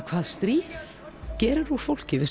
hvað stríð gerir úr fólki við